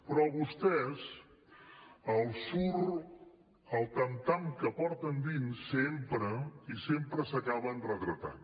però a vostès els surt el tam tam que porten dins sempre i sempre s’acaben retratant